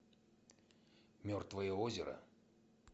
мертвое озеро